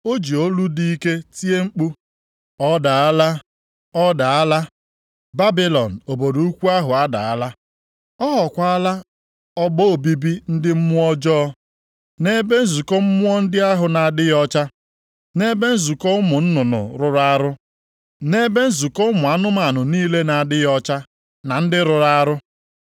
O ji olu dị ike tie mkpu, “ ‘Ọ daala! Ọ daala! Babilọn Obodo Ukwu ahụ adaala!’ + 18:2 \+xt Aịz 21:9\+xt* Ọ ghọọkwala ọgba obibi ndị mmụọ ọjọọ nʼebe nzukọ mmụọ ndị ahụ na-adịghị ọcha, nʼebe nzukọ ụmụ nnụnụ rụrụ arụ nʼebe nzukọ ụmụ anụmanụ niile na-adịghị ọcha na ndị rụrụ arụ.